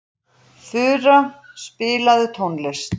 Fura, spilaðu tónlist.